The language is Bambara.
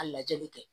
A lajɛli kɛ